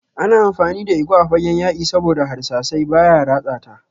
Ana amfani da igwa a fagen yaki saboda harsashi baya ratsa ta.